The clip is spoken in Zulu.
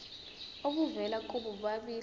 obuvela kubo bobabili